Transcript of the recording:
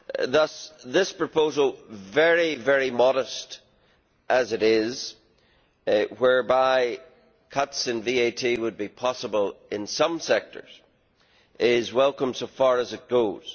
Thus, this proposal very modest as it is whereby cuts in VAT would be possible in some sectors, is welcome so far as it goes.